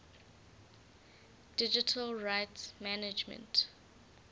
digital rights management